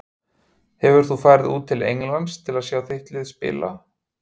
Hefur þú farið út til Englands til að sjá þitt lið spila?